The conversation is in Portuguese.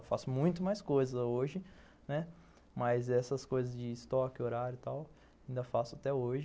Eu faço muito mais coisas hoje, né, mas essas coisas de estoque, horário e tal, ainda faço até hoje.